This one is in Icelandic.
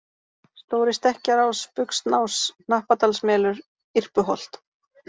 Stóri-Stekkjarás, Buxnás, Hnappadalsmelur, Irpuholt